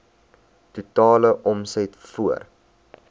totale omset voor